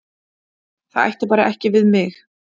Það ætti bara ekki við mig.